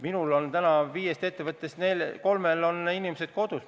Minul on täna viiest ettevõttest kolmel inimesed kodus.